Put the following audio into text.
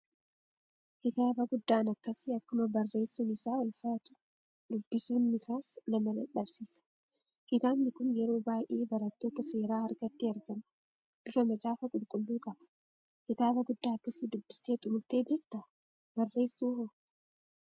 Kitaaba guddaan akkasii akkuma barreessuun isaa ulfaatu, dubbisuunnisaas nama dadhabsiisa. Kitaabni kun yeroo baay'ee barattoota seeraa harkatti argama. Bifa macaafa qulqulluu qaba. Kitaaba guddaa akkasii dubbistee xumurtee beektaa? Barreessuu hoo?